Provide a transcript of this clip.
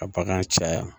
Ka bagan caya